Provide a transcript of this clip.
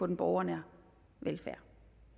den borgernære velfærd